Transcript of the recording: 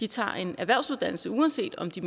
tager en erhvervsuddannelse uanset om de